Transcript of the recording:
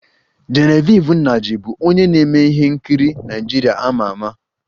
Genevieve Nnaji bụ onye na-eme ihe nkiri Naịjirịa a ma ama